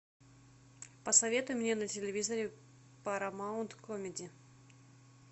посоветуй мне на телевизоре парамаунт комеди